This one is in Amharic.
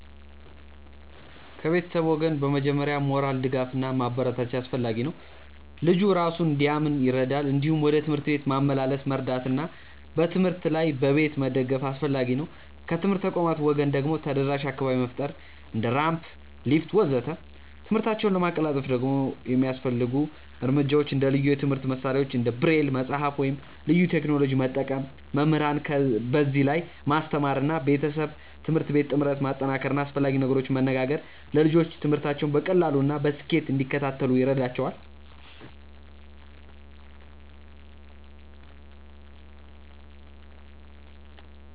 ከቤተሰብ ወገን በመጀመሪያ ሞራል ድጋፍ እና ማበረታቻ አስፈላጊ ነው፣ ልጁ እራሱን እንዲያምን ይረዳል። እንዲሁም ወደ ትምህርት ቤት ማመላለስ መርዳት እና በትምህርት ላይ በቤት መደገፍ አስፈላጊ ነው። ከትምህርት ተቋማት ወገን ደግሞ ተደራሽ አካባቢ መፍጠር እንደ ራምፕ፣ ሊፍት ወዘተ..።ትምህርታቸውን ለማቀላጠፍ ደግሞ የሚያስፈልጉ እርምጃዎች እንደ ልዩ የትምህርት መሳሪያዎች እንደ ብሬል መጽሐፍ ወይም ልዩ ቴክኖሎጂ መጠቀም፣ መምህራንን በዚህ ላይ ማስተማር እና ቤተሰብ-ትምህርት ቤት ጥምረት ማጠናከር እና አስፈላጊ ነገሮችን መነጋገር ለልጆቹ ትምህርታቸውን በቀላሉ እና በስኬት እንዲከታተሉ ይረዳቸዋል።